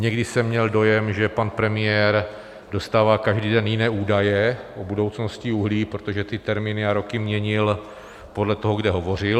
Někdy jsem měl dojem, že pan premiér dostává každý den jiné údaje o budoucnosti uhlí, protože ty termíny a roky měnil podle toho, kde hovořil.